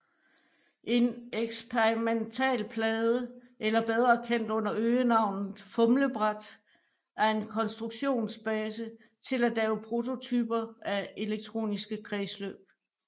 En eksperimentalplade eller bedre kendt under øgenavnet fumlebræt er en konstruktionsbase til at lave prototyper af elektroniske kredsløb